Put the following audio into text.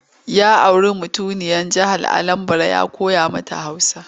Ya auri mutuniyar jihar Anambara ya koya mata Hausa.